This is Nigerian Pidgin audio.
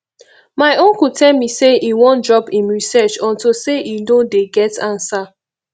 my uncle tell me say e wan drop im research unto say e no dey get answer